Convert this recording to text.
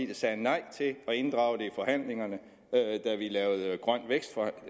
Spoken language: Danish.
der sagde nej til at inddrage det i forhandlingerne da grøn vækst